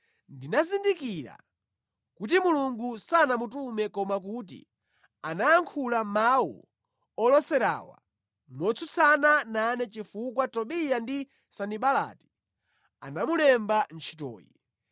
Ndinazindikira kuti Mulungu sanamutume koma kuti anayankhula mawu oloserawa motsutsana nane chifukwa Tobiya ndi Sanibalati anamulemba ntchitoyi.